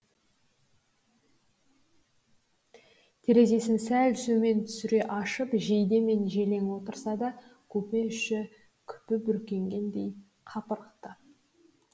терезесін сәл төмен түсіре ашып жейдемен желең отырса да купе іші күпі бүркенгендей қапырық ты